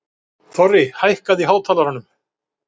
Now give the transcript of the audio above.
Þorri, hækkaðu í hátalaranum.